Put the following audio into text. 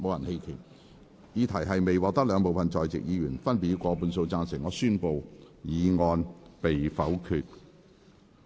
由於議題未獲得兩部分在席議員分別以過半數贊成，他於是宣布議案被否決。